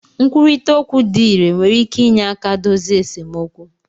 Nkwurịta okwu dị irè nwere ike inye aka dozie esemokwu